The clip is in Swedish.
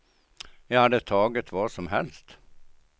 Jag hade tagit vad som helst.